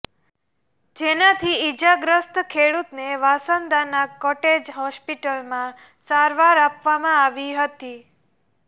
જેનાથી ઈજાગ્રસ્ત ખેડુતને વાંસદાના કોટેજ હોસ્પિટલમાં સારવાર આપવામાં આવી હતી